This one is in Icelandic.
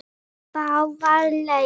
Báðar leiðir.